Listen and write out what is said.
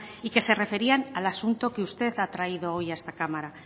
y que se referían a al asunto que usted ha traído hoy a esta cámara